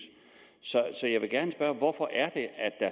så jeg vil gerne spørge hvorfor